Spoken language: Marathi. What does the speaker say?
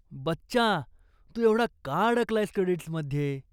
बच्चा, तू एवढा का अडकलायेस क्रेडिट्समध्ये?